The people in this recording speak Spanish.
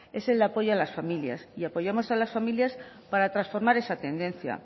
es el apoyo a las familias y apoyamos a las familias para transformar esa tendencia